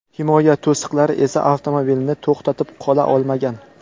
Himoya to‘siqlari esa avtomobilni to‘xtatib qola olmagan.